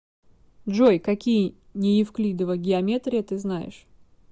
джой какие неевклидова геометрия ты знаешь